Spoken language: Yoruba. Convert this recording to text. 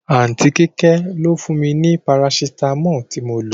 Aunty Kíké ló fún mi ní Parasitamọ́ọ̀ tí mo lo.